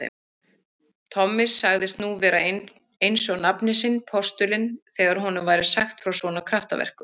Tommi sagðist nú vera einsog nafni sinn postulinn þegar honum væri sagt frá svona kraftaverkum.